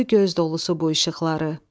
Süzdü göz dolusu bu işıqları.